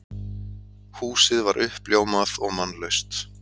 Húsið var uppljómað og mannlaust.